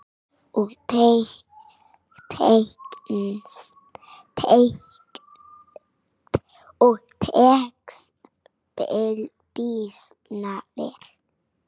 Og tekst býsna vel.